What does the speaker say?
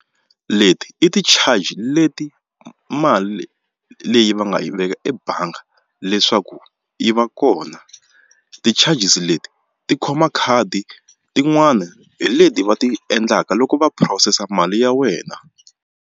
Leti i ti-charge leti mali leyi va nga yi veka ebangi leswaku yi va kona ti-charges leti ti khoma khadi tin'wani hi leti va ti endlaka loko va phurosesa mali ya wena.